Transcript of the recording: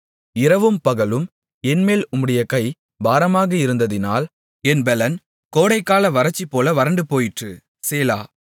இரவும் பகலும் என்மேல் உம்முடைய கை பாரமாக இருந்ததினால் என் பெலன் கோடைக்கால வறட்சிபோல வறண்டுபோயிற்று சேலா